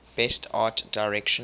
best art direction